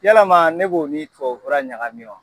Yalama ne b'o min fɔ o bɔura ɲaga min wa.